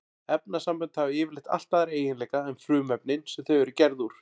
Efnasambönd hafa yfirleitt allt aðra eiginleika en frumefnin sem þau eru gerð úr.